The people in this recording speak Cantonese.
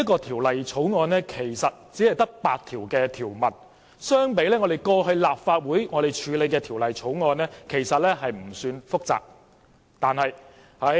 《條例草案》只有8項條文，相比立法會過去處理的其他法案，其實不算複雜。